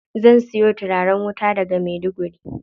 Zan siyo turaren wuta daga Maiduguri.